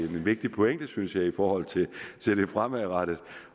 vigtig pointe synes jeg i forhold til til det fremadrettede